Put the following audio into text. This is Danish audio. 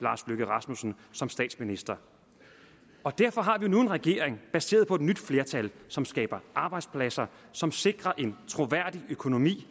lars løkke rasmussen som statsminister derfor har vi nu en regering baseret på et nyt flertal som skaber arbejdspladser som sikrer en troværdig økonomi